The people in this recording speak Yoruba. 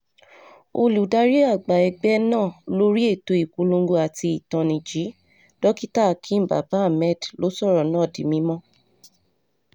olùdarí àgbà ẹgbẹ́ náà lórí ètò ìpolongo àti ìtanìjí dókítà hakeem baba- hamed ló sọ̀rọ̀ náà di mímọ́